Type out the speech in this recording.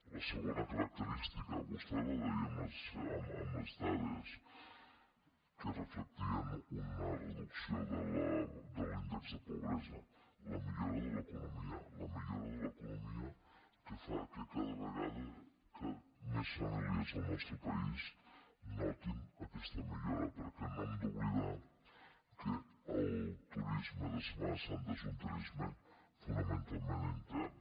la segona característica vostè la deia amb les dades que reflectien una reducció de l’índex de pobresa la millora de l’economia la millora de l’economia que fa que cada vegada més famílies del nostre país notin aquesta millora perquè no hem d’oblidar que el turisme de setmana santa és un turisme fonamentalment intern